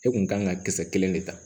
E kun kan ka kisɛ kelen de ta